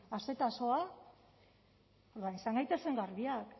orduan izan gaitezen garbiak